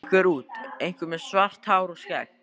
Einhver út, einhver með svart hár og skegg.